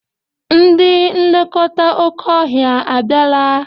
Ndị nlekọta oké ọhịa a bịala?